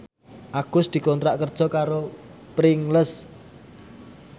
Agus dikontrak kerja karo Pringles